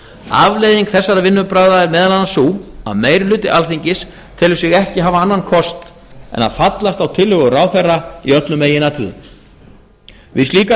afleiðing þessara vinnubragða er meðal annars sú að meirihluti alþingis telur sig ekki hafa annan kost en að fallast á tillögur ráðherra í öllum meginatriðum við slíkar